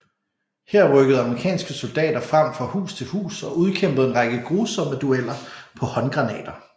Her rykkede amerikanske soldater frem fra hus til hus og udkæmpede en række grusomme dueller på håndgranater